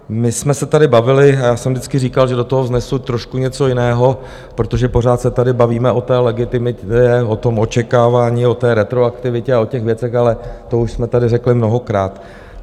My jsme se tady bavili, já jsem vždycky říkal, že do toho vnesu trošku něco jiného, protože pořád se tady bavíme o té legitimitě, o tom očekávání, o té retroaktivitě a o těch věcech, ale to už jsme tady řekli mnohokrát.